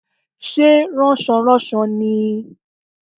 Sé rànsoránso ni i?